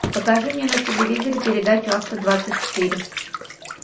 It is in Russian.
покажи мне на телевизоре передачу авто двадцать четыре